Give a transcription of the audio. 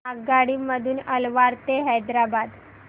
आगगाडी मधून अलवार ते हैदराबाद